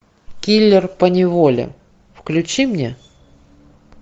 киллер поневоле включи мне